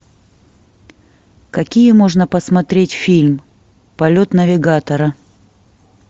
какие можно посмотреть фильм полет навигатора